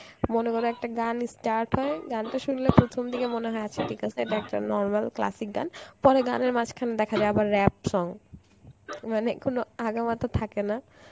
মনে করো একটা গান start হয় গানতো শুনলে প্রথম দিকে মনে হয় আচ্ছা ঠিক আছে এটা একটা normal classic গান পরে গানের মাঝখানে দেখা যায় আবার rap song মানে কোন আগা মাথা থাকেনা